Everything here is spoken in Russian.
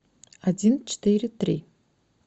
один четыре три